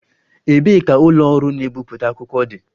Ebee ka ụlọ ọrụ na-ebipụta akwụkwọ dị?